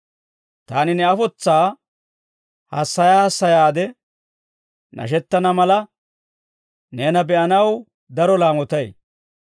Taani ne afotsaa hassaya hassayaade nashettana mala, neena be'anaw daro laamotay.